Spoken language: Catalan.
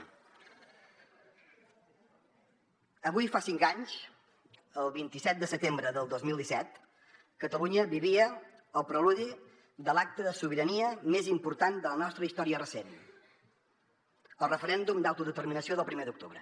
avui fa cinc anys el vint set de setembre del dos mil disset catalunya vivia el preludi de l’acte de sobirania més important de la nostra història recent el referèndum d’autodeterminació del primer d’octubre